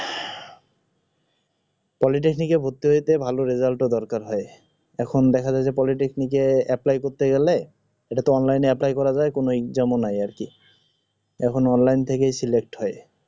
politaknic এ ভরতি হইতে ভাল রেজাল্ট এর দরকার হয় এখন দেখা যায় যে politaknic কে apply করতে গেল এটা ত online এ apply করা যায় কোনও জামেলা নাই আরকি এখন online থেকে select হয়